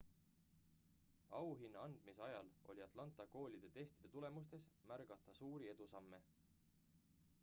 auhinna andmise ajal oli atlanta koolide testide tulemustes märgata suuri edusamme